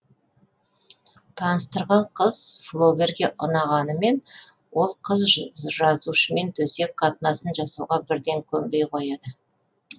таныстырған қыз флоберге ұнағанымен ол қыз жазушымен төсек қатынасын жасауға бірден көнбей қояды